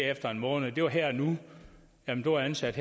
efter en måned det var her og nu man blev ansat